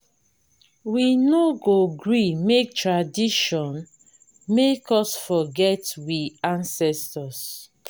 we no go gree make new tradition make us forget we ancestors.